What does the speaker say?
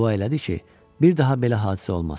Dua elədi ki, bir daha belə hadisə olmasın.